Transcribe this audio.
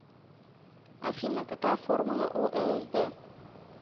афина какая формула у лсд